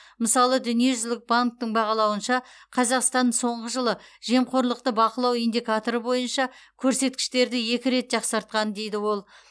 мысалы дүниежүзілік банктің бағалауынша қазақстан соңғы жылы жемқорлықты бақылау индикаторы бойынша көрсеткіштерді екі рет жақсартқан дейді ол